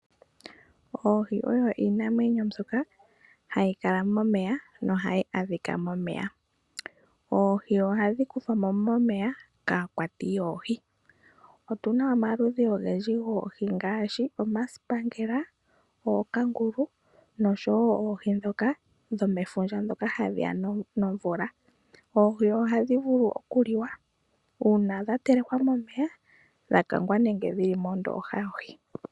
Ooyi oyo iinamwenyo mbyoka hayi kala momeya nohayi adhika momeya. Oohi ohadhi kuthwa mo momeya kaakwati yoohi. Otuna omaludhi ogendji goohi ngaashi omasipangela, ookangulu noshowo oohi dhomefundja dhoka hadhi ya nomvula. Oohi ohadhi vulu okuliwa uuna dha telekwa momeya, dha kangwa nenge dhili mondooha yohi.